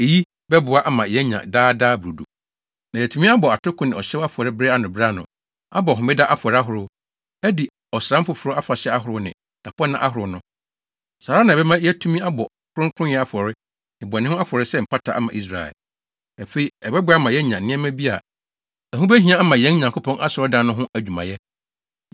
Eyi bɛboa ama yɛanya Daa Daa Brodo, na yɛatumi abɔ atoko ne ɔhyew afɔre bere ano bere ano, abɔ homeda afɔre ahorow, adi ɔsram foforo afahyɛ ahorow ne dapɔnna ahorow no. Saa ara na ɛbɛma yɛatumi abɔ kronkronyɛ afɔre ne bɔne ho afɔre sɛ mpata ama Israel. Afei, ɛbɛboa ama yɛanya nneɛma bi a ɛho behia ama yɛn Nyankopɔn Asɔredan no ho adwumayɛ.